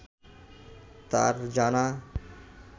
তাঁর জানা